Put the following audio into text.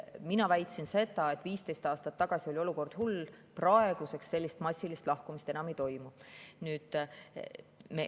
Mina väitsin seda, et 15 aastat tagasi oli olukord hull, praegu sellist massilist lahkumist enam ei toimu.